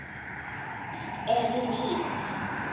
Tónlist er lífið!